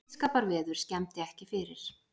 Blíðskaparveður skemmdi ekki fyrir